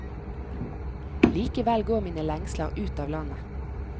Likevel går mine lengsler ut av landet.